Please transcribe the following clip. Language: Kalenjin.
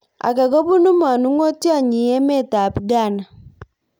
Age kobunu manung'otyot nyi emet ab ghana